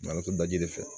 Matɔrɔn daji fɛ